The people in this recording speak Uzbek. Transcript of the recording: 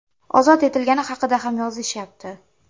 Ozod etilgani haqida ham yozishyapti.